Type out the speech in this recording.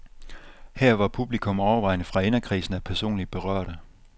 Her var publikum overvejende fra inderkredsen af personligt berørte.